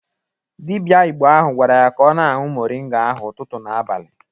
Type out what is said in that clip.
Dịbịa Igbo ahụ gwara ya ka ọ na-añwu moringa ahụ ụtụtụ na abalị